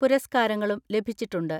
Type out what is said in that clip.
പുരസ്ക്കാരങ്ങളും ലഭിച്ചിട്ടുണ്ട്.